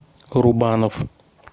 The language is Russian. рубанов